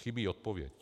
Chybí odpověď.